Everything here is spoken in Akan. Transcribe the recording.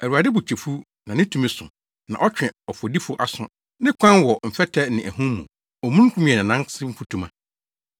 Awurade bo kyɛ fuw, na ne tumi so, na ɔtwe ɔfɔdifo aso. Ne kwan wɔ mfɛtɛ ne ahum mu, omununkum yɛ nʼanan ase mfutuma.